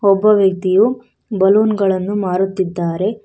ಒಬ್ಬ ವ್ಯಕ್ತಿಯು ಬಲುನ್ ಗಳನ್ನು ಮಾರುತ್ತಿದ್ದಾರೆ.